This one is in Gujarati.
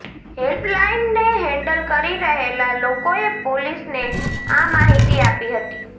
હેલ્પલાઈનને હેન્ડલ કરી રહેલા લોકોએ પોલીસને આ માહિતી આપી હતી